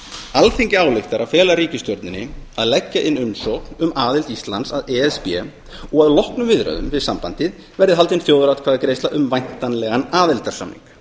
alþingi ályktar að fela ríkisstjórninni að leggja inn umsókn um aðild að evrópusambandinu og að loknum viðræðum við sambandið verði haldin þjóðaratkvæðagreiðsla um væntanlegan aðildarsamning